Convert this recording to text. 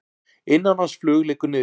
Innanlandsflug liggur niðri